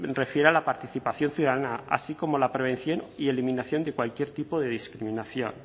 refiere a la participación ciudadana así como la prevención y eliminación de cualquier tipo de discriminación